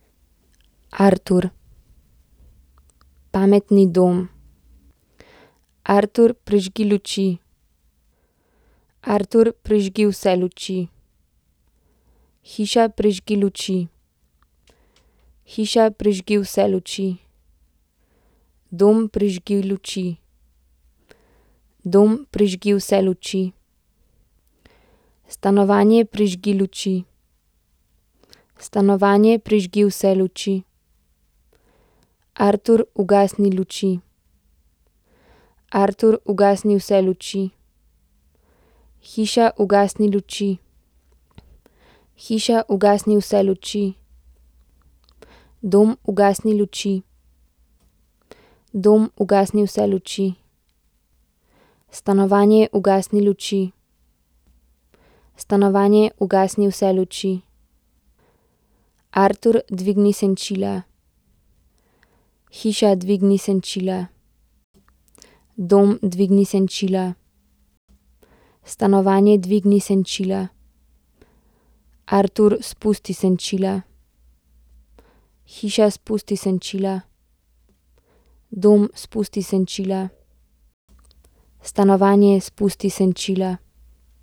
Artur. Pametni dom. Artur, prižgi luči. Artur, prižgi vse luči. Hiša, prižgi luči. Hiša, prižgi vse luči. Dom, prižgi luči. Dom, prižgi vse luči. Stanovanje, prižgi luči. Stanovanje, prižgi vse luči. Artur, ugasni luči. Artur, ugasni vse luči. Hiša, ugasni luči. Hiša, ugasni vse luči. Dom, ugasni luči. Dom, ugasni vse luči. Stanovanje, ugasni luči. Stanovanje, ugasni vse luči. Artur, dvigni senčila. Hiša, dvigni senčila. Dom, dvigni senčila. Stanovanje, dvigni senčila. Artur, spusti senčila. Hiša, spusti senčila. Dom, spusti senčila. Stanovanje, spusti senčila.